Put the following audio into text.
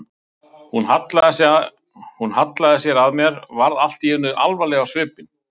Hún hallaði sér að mér, varð allt í einu alvarleg á svipinn.